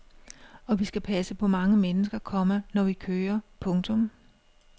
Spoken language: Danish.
Og vi skal passe på mange mennesker, komma når vi kører. punktum